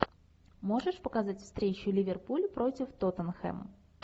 можешь показать встречу ливерпуль против тоттенхэм